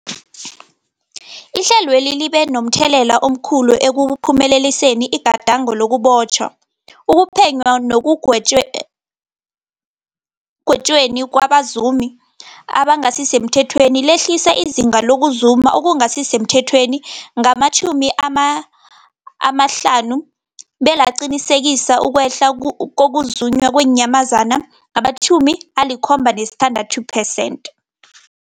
Ihlelweli libe momthelela omkhulu ekuphumeleliseni igadango lokubotjhwa, ukuphenywa nekugwetjweni kwabazumi abangasisemthethweni, lehlisa izinga lokuzuma okungasi semthethweni ngama-50, belaqinisekisa ukwehla kokuzunywa kweenyamazana ngama-76 percent.